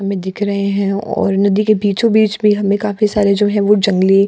हमें दिख रहे हैं और नदी के बीचो-बीच भी हमें काफी सारे जो है वो जंगली --